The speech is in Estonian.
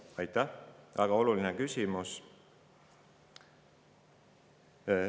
väga oluline küsimus.